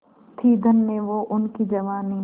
थी धन्य वो उनकी जवानी